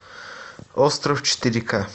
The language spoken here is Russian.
остров четыре к